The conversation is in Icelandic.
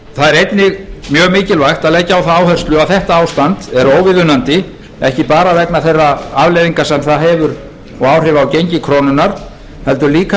það er einnig mjög mikilvægt að leggja á það áherslu að þetta ástand er óviðunandi ekki bara vegna þeirra afleiðinga sem það hefur og áhrifa á gengi krónunnar heldur líka